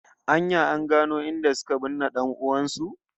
An ya an gano inda suka binne dan'uwan su?